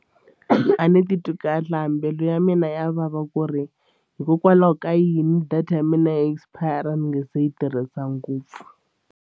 A ni titwi kahle a mbilu ya mina ya vava ku ri hikokwalaho ka yini data ya mina expire ni nge se yi tirhisa ngopfu.